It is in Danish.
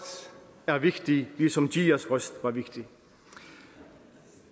er vigtig ligesom giðjas røst var vigtig